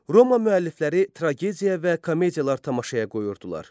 Roma müəllifləri tragediya və komediyalar tamaşaya qoyurdular.